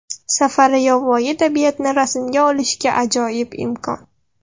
Safari yovvoyi tabiatni rasmga olishga ajoyib imkon.